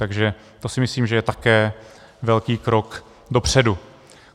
Takže to si myslím, že je také velký krok dopředu.